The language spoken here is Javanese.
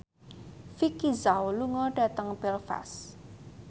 Vicki Zao lunga dhateng Belfast